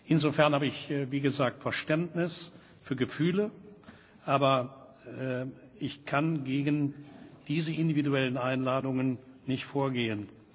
Insofern habe ich wie gesagt Verständnis für Gefühle, aber ich kann gegen diese individuellen Einladungen nicht vorgehen.